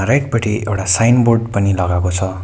Right पटि एउडा signboard पनि लगाएको छ।